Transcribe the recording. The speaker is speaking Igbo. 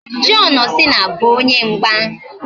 John Cena bụ onye mgba